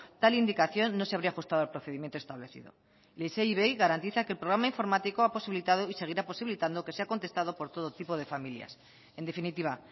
tal indicación no se habría ajustado al procedimiento establecido isei ivei garantiza que el programa informático ha posibilitado y seguirá posibilitando que sea contestado por todo tipo de familias en definitiva